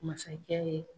Masakɛ ye